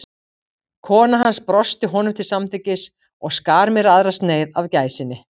Kona hans brosti honum til samþykkis og skar mér aðra sneið af gæsinni.